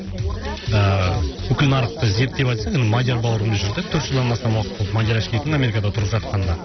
ыыы бүкіл нарықты зерттеп айтсақ енді мадияр бауырымыз жүр де төрт жылдан астам уақыт болды мадияр ашкеевтің америкада тұрып жатқанына